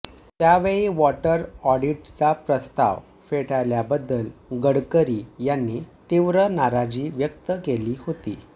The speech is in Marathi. त्यावेळी वॉटर ऑडिटचा प्रस्ताव फेटाळल्याबद्दल गडकरी यांनी तीव्र नाराजी व्यक्त केली होती